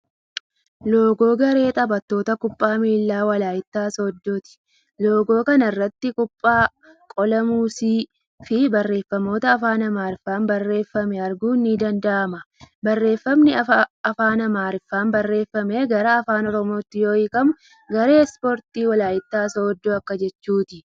Loogoo garee taphattoota kubbaa miilaa Walayittaa Sooddoti. Loogoo kana irratti kubbaa, qola muuzii fii barreeffamoota afaan Amaariffaan barreeffame arguun ni danda'ama. Barreeffamni afaan Amaariffaan barreeffame gara afaan Oromootti yoo hiikkamu 'garee Ispoortii Walayittaa Sooddoo' akka jechuuti.